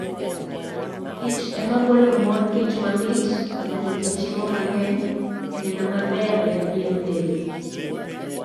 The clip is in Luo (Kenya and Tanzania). kich ema golo mor kich, mamit, ma nigi chiemo mang'eny, kendo maber ne pien del.